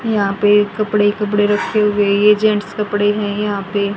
यहां पे कपड़े कपड़े रखे हुए जेंट्स कपड़े हैं यहां पे--